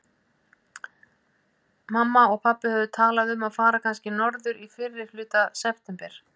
Mamma og pabbi höfðu talað um að fara kannski norður í fyrrihluta september.